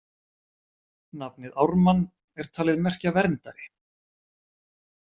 Nafnið Ármann er talið merkja verndari.